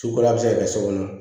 Sukoro a bɛ se ka kɛ so kɔnɔ